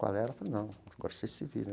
Com a Léia falei, não, agora vocês se viram.